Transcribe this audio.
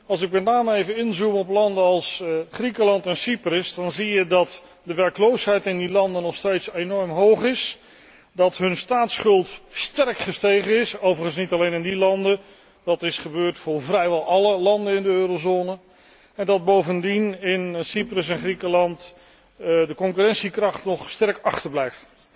Als ik met name even inzoem op landen als Griekenland en Cyprus, dan zie je dat de werkloosheid in die landen nog steeds enorm hoog is, dat hun staatsschuld sterk gestegen is overigens niet alleen in die landen, dat is gebeurd in vrijwel alle landen in de eurozone en dat bovendien in Cyprus en Griekenland de concurrentiekracht nog sterk achterblijft.